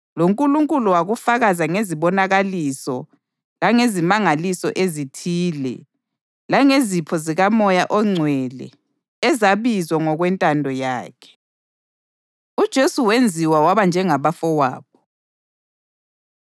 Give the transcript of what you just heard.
LoNkulunkulu wakufakaza ngezibonakaliso langezimangaliso ezithile, langezipho zikaMoya oNgcwele ezabiwa ngokwentando yakhe. UJesu Wenziwa Waba Njengabafowabo